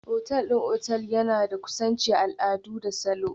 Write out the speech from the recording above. Otal ɗin otal ɗin yana da kusanci, al'adu da salo.